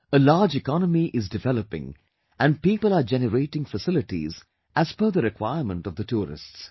A large economy is developing and people are generating facilities as per the requirement of the tourists